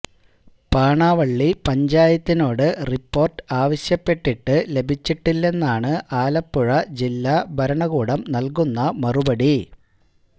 പാണാവള്ളി പഞ്ചായത്തിനോട് റിപ്പോര്ട്ട് ആവശ്യപ്പെട്ടിട്ട് ലഭിച്ചിട്ടില്ലെന്നാണ് ആലപ്പുഴ ജില്ലാ ഭരണകൂടം നല്കുന്ന മറുപടി